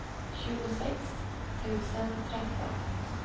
tjugosex tusen tretton